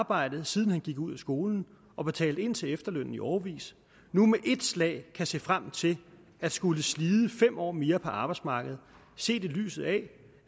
arbejdet siden han gik ud af skolen og betalt ind til efterlønnen i årevis nu med et slag kan se frem til at skulle slide fem år mere på arbejdsmarkedet set i lyset af